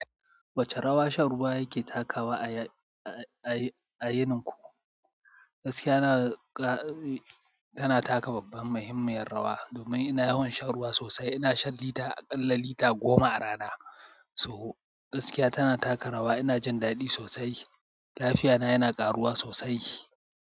Wace rawa shan ruwa yake takawa a yinin ku? Gaskiya tana taka babban muhimmiyar rawa. Domin ina yawan shan ruwa sosai, ina shan lita, aƙalla lita goma a rana. So gaskiya tana taka rawa. Ina jin daɗi sosai. Lafiyana yana ƙaruwa sosai.